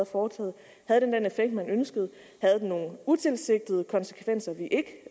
foretaget havde den den effekt man ønskede havde den nogen utilsigtede konsekvenser vi ikke